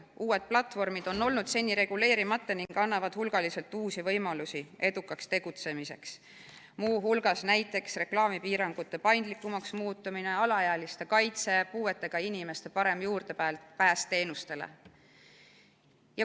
Uued platvormid on seni olnud reguleerimata ning annavad hulgaliselt uusi võimalusi edukaks tegutsemiseks, muu hulgas reklaamipiirangute paindlikumaks muutmine, alaealiste kaitse, puuetega inimeste parem juurdepääs teenustele.